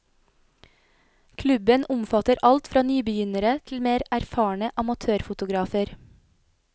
Klubben omfatter alt fra nybegynnere til mer erfarne amatørfotografer.